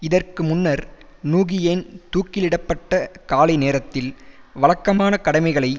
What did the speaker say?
இதற்கு முன்னர் நூகியேன் தூக்கிலிடப்பட்ட காலை நேரத்தில் வழக்கமான கடமைகளை